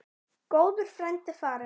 Góður frændi er farinn.